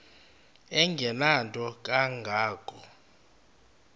engenanto kanga ko